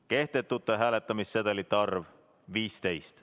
Kehtetute hääletamissedelite arv: 15.